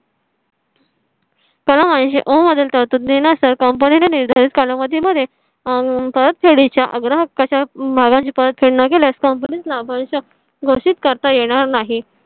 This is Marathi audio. तर म्हणजे ओम मधील तरतुदी नुसार company ने निर्धारित कालावधी मध्ये आह परतफेडी चा आग्रह कशा माला ची परतफेड न केल्यास company चा परीक्षक घोषित करता येणार नाही.